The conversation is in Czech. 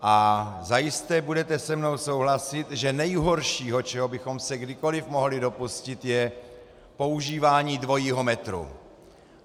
A zajisté budete se mnou souhlasit, že nejhorší, čeho bychom se kdykoliv mohli dopustit, je používání dvojího metru.